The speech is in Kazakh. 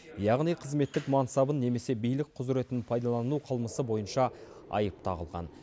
яғни қызметтік мансабын немесе билік құзыретін пайдалану қылмысы бойынша айып тағылған